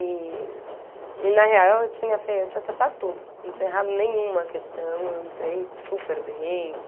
E, na real, eu tinha fê eu tinha acertado tudo, não tinha errado nenhuma questão, eu entrei super bem.